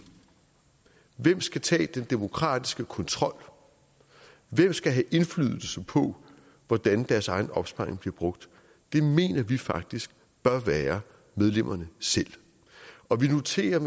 hvem skal tage den demokratiske kontrol hvem skal have indflydelse på hvordan deres egen opsparing bliver brugt det mener vi faktisk bør være medlemmerne selv og vi noterer